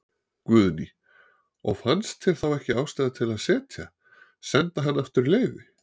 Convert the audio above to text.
Guðný: Og fannst þér þá ekki ástæða til að setja, senda hann aftur í leyfi?